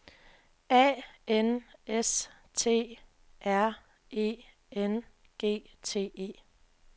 A N S T R E N G T E